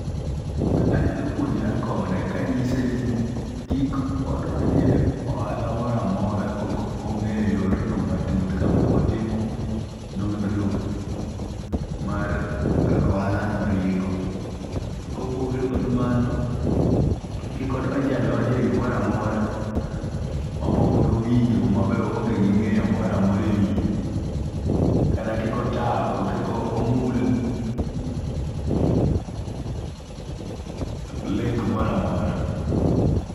Anyalo puonjora kode ka anyise ni kik odonje ohala mora mora kok onge'yo yorno matut ka pok otimo nondro mar kaka ohalono ringo', kopogore kod mano kiki ondenje adonja gimoro amora mapok ne owinjo ma be ohonge gi nge'yo moro amora e wiye kata kik otam kik omul link mora mora.